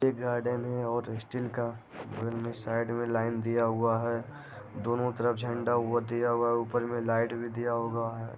एक गार्डन है और स्टील का उनमें साइड में लाइन दिया हुआ है दोनों तरफ झंडा ऊपर दिया हुआ है ऊपर में लाइट भी दिया हुआ है।